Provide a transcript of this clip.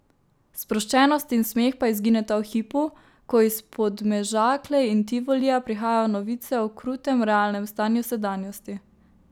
Sproščenost in smeh pa izgineta v hipu, ko iz Podmežakle in Tivolija prihajajo novice o krutem realnem stanju sedanjosti.